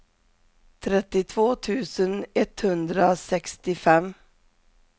trettiotvå tusen etthundrasextiofem